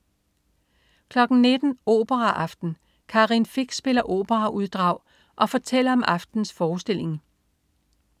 19.00 Operaaften. Karin Fich spiller operauddrag og fortæller om aftenens forestilling